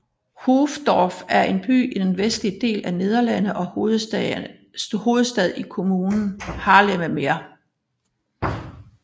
Hoofddorp er en by i den vestlige del af Nederland og hovedstad i kommunen Haarlemmermeer